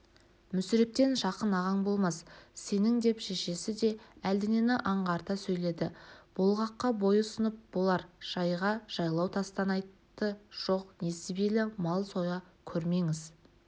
мүсірептен жақын ағаң болмас сенің деп шешесі де әлденені аңғарта сөйледі болғаққа бой ұсынып болар жайға жалғау тастан айтты жоқ несібелі мал соя көрмеңіз